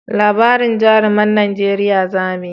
Labarin jaruman najeriya za mu yi